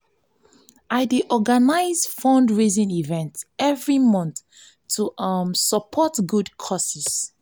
i dey organize fundraising events every month to um support good causes.